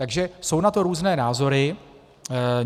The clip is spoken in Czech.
Takže jsou na to různé názory.